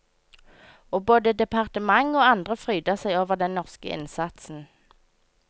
Og både departement og andre fryder seg over den norske innsatsen.